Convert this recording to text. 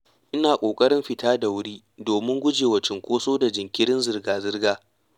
Ina ƙoƙarin fita da wuri domin gujewa cunkoso da jinkirin zirga-zirga.